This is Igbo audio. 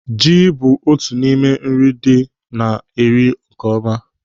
Ji bụ otu n'ime nri dị na-eri nkeọma.